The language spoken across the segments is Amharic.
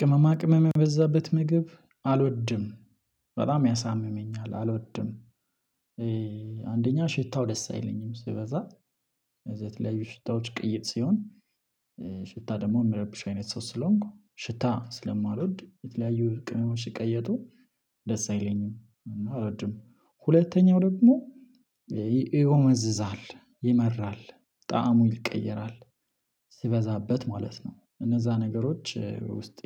ቅመማ ቅመም የበዛበት ምግብ አልወድም በጣም ያሳምመኛል አልወድም። አንደኛ ሽታው ደስ አይለኝም ሲበዛ እዛ የተለያዩ ሽታዎች ቅይጥ ሲሆን ሽታ ደግሞ የሚረብሽ አይነት ሰው ስለሆንኩ ሽታ ስለማልወድ የተለያዩ ቅመሞች ሲቀየጡ ደስ አይለኝም እና አሎድም ሁለተኛው ደግሞ ይጎመዝዛል ይመራል ጠዕሙ ይቀየራል። ሲበዛበት ማለት ነው እነዛ ነገሮች ውስጤ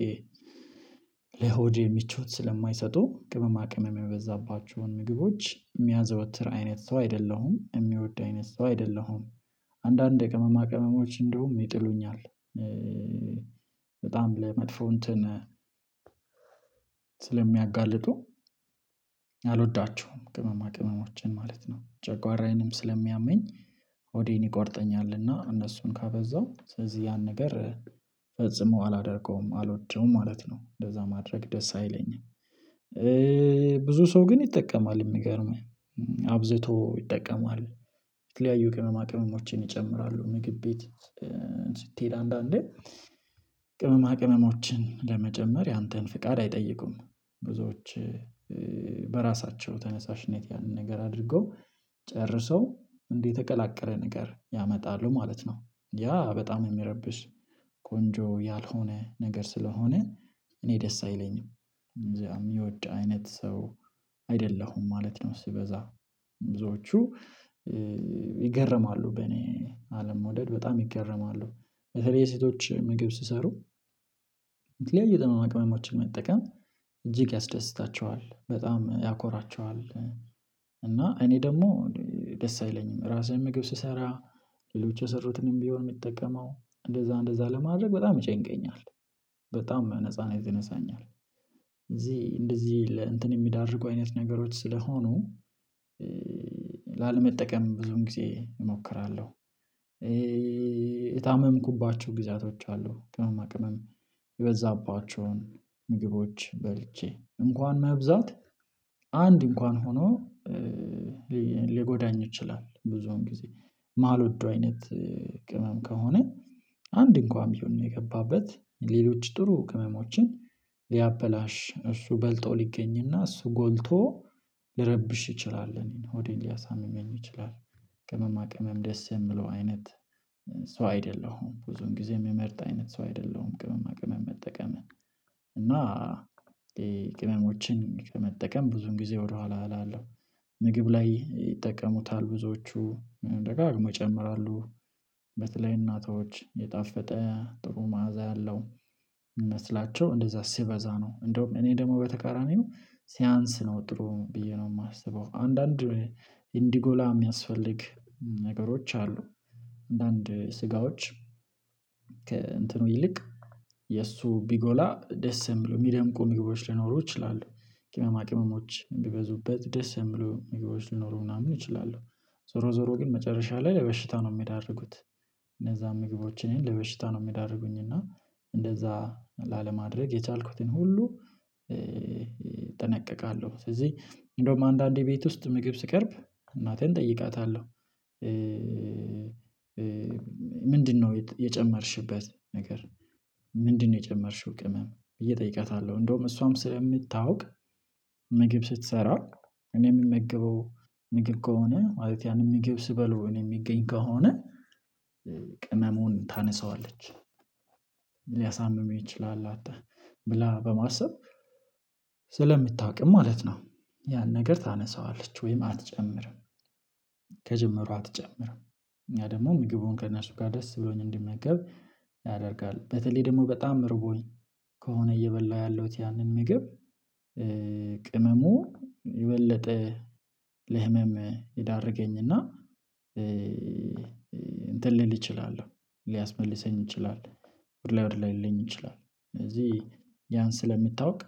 ለሆዴ ምቾት ስለማይሰጡ ቅመማ ቅመም የበዛባቸውን ምግቦች የሚያዘወትር አይነት ሰው አይደለሁም የሚወድ አይነት ሰው አይደለሁም። አንዳንድ የቅመማ ቅመሞች እንደውም ይጥሉኛል በጣም ለመጥፎ እንትን ስለሚያጋልጡ አልወዳችሁም ቅመማ ቅመሞችን ማለት ነው ጨጓራዬንም ስለሚያመኝ ሆዴን ይቆርጠኛልና እነሱን ካበዛው ስለዚህ ያን ነገር ፈጽሞ አላደርገውም አልወደውም ማለት ነው። እንደዛ ማድረግ ደስ አይለኝም ብዙ ሰው ግን ይጠቀማል የሚገርምህ አብዝቶ ይጠቀማል። የተለያዩ ቅመማ ቅመሞችን ይጨምራሉ ምግብ ቤት አንዳንዴ ቅመማ ቅመሞችን ለመጨመር ያንተን ፍቃድ አይጠይቁም ብዙዎች በራሳቸው ተነሳሽነት ያንን ነገር አድርገው ጨርሰው እንዲ የተቀላቀለ ነገር ያመጣሉ ማለት ነው። ያ በጣም የሚረብሽ ቆንጆ ያልሆነ ነገር ስለሆነ እኔ ደስ አይለኝም እንደዛ የሚወድ አይነት ሰው አይደለሁም ማለት ነው። ሲበዛ ብዙዎቹ ይገረማሉ በኔ አለመውደድ በጣም ይገረማሉ በተለይ ሴቶች ምግብ ሲሰሩ የተለያዩ ቅመማ ቅመሞችን መጠቀም እጅግ ያስደስታቸዋል በጣም ያኮራቸዋል። እና እኔ ደግሞ ደስ አይለኝም ራሴም ምግብ ስሰራ ሌሎች የሰሩትንም ቢሆን የምጠቀመው እንደዛ እንደዛ ለማድረግ በጣም ይጨንቀኛል በጣም ነጻነት ይነሳኛል እዚህ እንደዚህ ለእንትን የሚዳርጉ አይነት ነገሮች ስለሆኑ ላለመጠቀም ብዙን ጊዜ እሞክራለሁ። የታመምኩባቸው ጊዜያቶች አሉ ቅመማ ቅመም የበዛባቸውን ምግቦች በልቼ እንኳን መብዛት አንድ እንኳን ሆኖ ሊጎዳኝ ይችላል ብዙውን ጊዜ ማልወደው አይነት ቅመም ከሆነ አንድ እንኳን ቢሆን የገባበት ሌሎች ጥሩ ቅመሞችን ሊያበላሽ እሱ በልጦ ሊገኝና እሱ ጎልቶ ሊረብሽ ይችላል እኔን ሆዴን ሊያሳምመኝ ይችላል። ቅመማ ቅመም ደስ የሚለው አይነት ሰው አይደለሁም ብዙን ጊዜ የምመርጥ አይነት ሰው አይደለሁም ቅመማ ቅመም መጠቀምን እና ቅመሞችን ከመጠቀም ብዙን ጊዜ ወደኋላ እላለሁ። ምግብ ላይ ይጠቀሙታል ብዙዎቹ ደጋግሞ ይጨምራሉ በተለይ እናቶች የጣፈጠ ጥሩ ማዕዛ ያለው ይመስላቸው እንደዛ ሲበዛ ነው እንደውም እኔ ደግሞ በተቃራኒው ሲያንስ ነው ጥሩ ብዬ ነው የማስበው አንዳንድ እንዲጎላ የሚያስፈልግ ነገሮች አሉ አንዳንድ ስጋዎች ከእንትኑ ይልቅ የእሱ ቢጎላ ደስ የሚለው ሚደምቁ ምግቦች ሊኖሩ ይችላሉ ቅመማ ቅመሞች ቢበዙበት ደስ የሚሉ ምግቦች ሊኖሩ ምናምን ይችላሉ። ዞሮ ዞሮ ግን መጨረሻ ላይ ለበሽታ ነው የሚዳርጉት እነዛን ምግቦችን ለበሽታ ነው የሚዳርጉኝ እና እንደዛ ላለማድረግ የቻልኩትን ሁሉ እጠነቀቃለሁ። ስለዚህ እንደውም አንዳንዴ ቤት ውስጥ ምግብ ሲቀርብ እናቴን እጠይቃታለሁ። ምንድነው የጨመርሽበት ነገር? ምንድነው የጨመርሽው ቅመም ብዬ እጠይቃታለሁ? እንደውም እሷም ስለምታውቅ ምግብ ስትሰራ እኔ የምመግበው ምግብ ከሆነ ማለት ያንን ምግብ ሲበሉ እኔ እሚገኝ ከሆነ ቅመሙን ታነሳዋለች ሊያሳምመው ይችላል አት ብላ በማሰብ ስለምታቅም ማለት ነው። ያን ነገር ታነሳዋለች ወይም አትጨምርም ከጀመሩ አትጨምርም። ያ ደግሞ ምግቡን ከእነሱ ጋር ደስ ብሎኝ እንድመገብ ያደርጋል በተለይ ደግሞ በጣም ርቦኝ ከሆነ እየበላሁ ያለሁት ያንን ምግብ ቅመሙ የበለጠ ለህመም ይዳርገኝና። እንትን ልል እችላለሁ ሊያስመልሰኝ ይችላል ወደ ላይ ወደ ላይ ሊለኝ ይችላል። ስለዚህ ያን ስለምታውቅ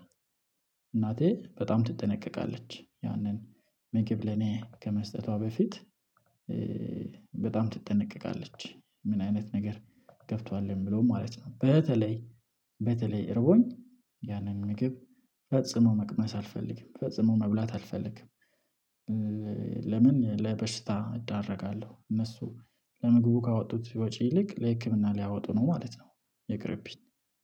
እናቴ በጣም ትጠነቀቃለች ያንን ምግብ ለኔ ከመስጠቷ በፊት በጣም ትጠነቀቃለች። ምን አይነት ነገር ገብቷል የሚለውን ማለት ነው። በተለይ በተለይ እረቦኝ ያንን ምግብ ፈጽሞ መቅመስ አልፈልግም ፈጽሞ መብላት አልፈልግም። ለምን ለበሽታ እዳረጋለሁ እነሱ ለምግቡ ካወጡት ወጪ ይልቅ ለህክምና ሊያወጡ ነው ማለት ነው። ይቅርብኝ።